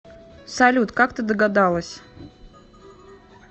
салют как ты догадалась